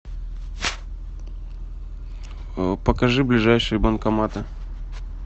покажи ближайшие банкоматы